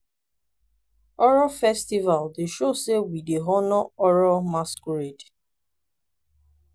oro festival dey show sey we dey honour oro masqurade.